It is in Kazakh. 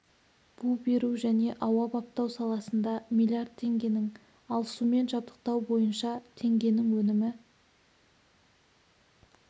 бу беру және ауа баптау саласында млрд теңгенің ал сумен жабдықтау бойынша теңгенің өнімі